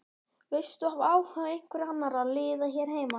Veistu af áhuga einhverra annarra liða hér heima?